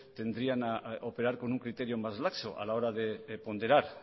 tendrían a operar con un criterio más laxo a la hora de ponderar